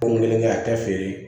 Ko nin kelen kɛ a tɛ feere